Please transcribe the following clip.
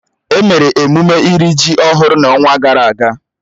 Emere emume iri ji ọhụrụ n'ọnwa gara aga